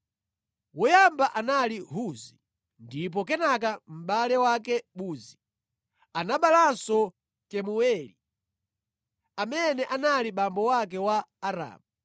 Woyamba anali Huzi ndipo kenaka mʼbale wake Buzi. Anaberekanso Kemueli, amene anali abambo ake a Aramu.